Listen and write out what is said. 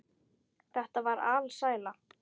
Þetta var alsæla.